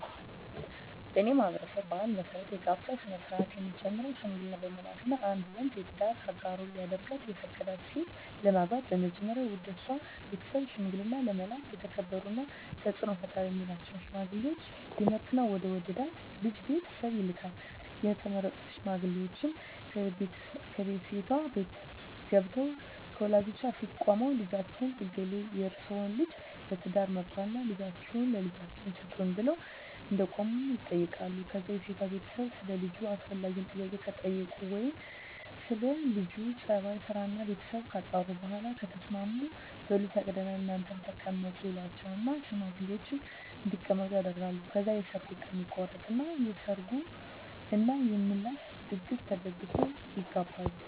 በኔ ማህበረሰብ ባህል መሰረት የጋብቻ ስነ-ስርአት የሚጀምረው ሽምግልና በመላክ ነው። አንድ ወንድ የትዳር አጋሩ ሊያደርጋት የፈቀዳትን ሴት ለማግባት መጀመሪያ ወደሷ ቤተሰብ ሽምግልና ለመላክ የተከበሩና ተጽኖ ፈጣሪ ሚላቸውን ሽማግሌወች ይመርጥና ወደ ወደዳት ልጅ ቤተሰብ ይልካል፣ የተመረጡት ሽማግሌወችም ከሴቷቤት ተገንተው ከወላጆቿ ፊት ቁመው ልጃችን እገሌ የርሰወን ልጅ ለትዳር መርጧልና ልጃችሁን ለልጃችን ስጡን ብለው እንደቆሙ ይጠይቃሉ ከዛ የሴቷ ቤተሰብ ሰለ ልጁ አስፈላጊውን ጥያቄ ከጠየቁ ወይም ስለ ለጁ ጸባይ፣ ስራና ቤተሰቡ ካጣሩ በኋላ ከተስማሙ በሉ ፈቅደናል እናንተም ተቀመጡ ይሏቸውና ሽማግሌወችን እንዲቀመጡ ያደርጋሉ። ከዛ የሰርጉ ቀን ይቆረጥና የሰርግ እና የምላሽ ድግስ ተደግሶ ይጋባሉ።